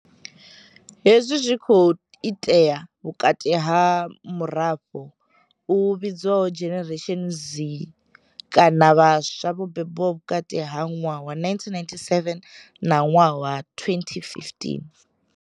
Hezwi zwi khou itea vhukati ha murafho u vhidzwaho Generation Z, kana vhaswa vho bebwaho vhukati ha ṅwaha wa 1997 na ṅwaha wa 2015.